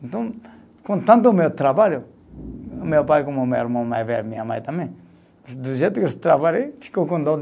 Então, contando o meu trabalho, meu pai, como meu irmão mais velho, minha mãe também, do do jeito que eu trabalhei, ficou com dó